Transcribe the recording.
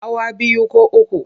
Hawa biyu ko uku.